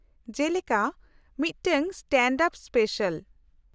-ᱡᱮᱞᱮᱠᱟ ᱢᱤᱫᱴᱟᱝ stand up special.